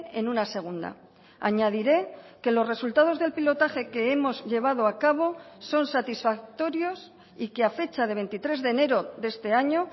en una segunda añadiré que los resultados del pilotaje que hemos llevado a cabo son satisfactorios y que a fecha de veintitrés de enero de este año